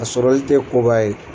A sɔrɔli tɛ koba ye